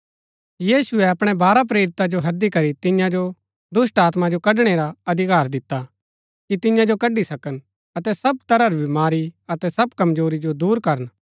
यीशुऐ अपणै बारह प्रेरिता जो हैदी करी तियां जो दुष्‍टात्मा जो कढणै रा अधिकार दिता कि तियां जो कड्ड़ी सकन अतै सब तरह री बमारी अतै सब कमजोरी जो दूर करन